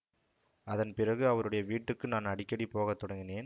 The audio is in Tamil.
அதன் பிறகு அவருடைய வீட்டுக்கு நான் அடிக்கடி போகத் தொடங்கினேன்